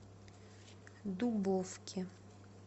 дубовке